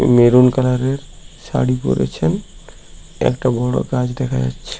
Maroon colour -এর শাড়ী পড়েছেন একটা বড় গাছ দেখা যাচ্ছে।